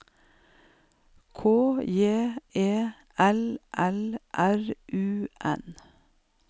K J E L L R U N